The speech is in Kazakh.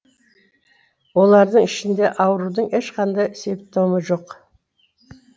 олардың ішінде аурудың ешқандай симптомы жоқ